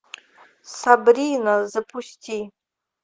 сабрина запусти